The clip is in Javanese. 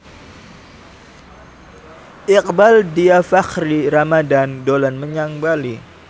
Iqbaal Dhiafakhri Ramadhan dolan menyang Bali